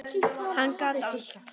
Hann gat allt.